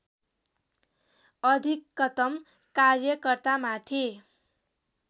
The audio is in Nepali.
अधिकतम कार्यकर्तामाथि